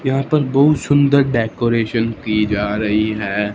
यहां पर बहुत सुंदर डेकोरेशन की जा रही है।